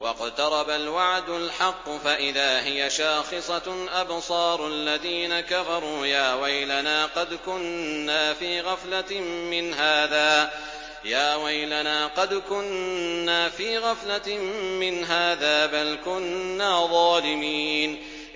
وَاقْتَرَبَ الْوَعْدُ الْحَقُّ فَإِذَا هِيَ شَاخِصَةٌ أَبْصَارُ الَّذِينَ كَفَرُوا يَا وَيْلَنَا قَدْ كُنَّا فِي غَفْلَةٍ مِّنْ هَٰذَا بَلْ كُنَّا ظَالِمِينَ